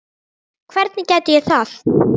Hvernig gæti ég það?